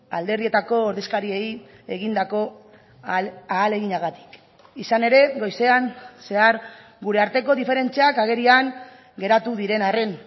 alderdietako ordezkariei egindako ahaleginagatik izan ere goizean zehar gure arteko diferentziak agerian geratu diren arren